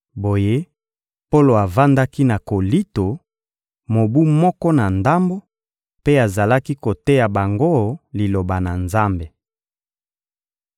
Boye, Polo avandaki na Kolinto, mobu moko na ndambo, mpe azalaki koteya bango Liloba na Nzambe.